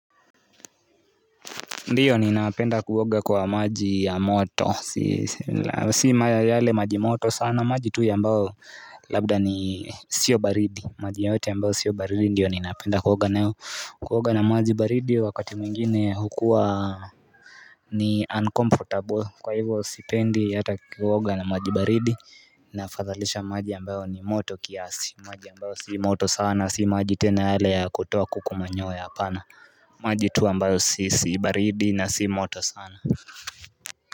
Ndiyo ninapenda kuoga kwa maji ya moto, si yale maji moto sana, maji tu ambayo labda ni sio baridi, maji yoyote ambayo sio baridi ndiyo ninapenda kuoga nayo, kuoga na maji baridi wakati mwingine hukuwa ni uncomfortable, kwa hivyo sipendi hata kuoga na maji baridi, nafadhalisha maji ya ambayo ni moto kiasi, maji ambayo si moto sana, si maji tena yale ya kutoa kuku manyoya, hapana. Maji tu ambayo sihisi baridi na si moto sana.